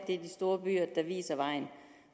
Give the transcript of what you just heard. det er de store byer der viser vejen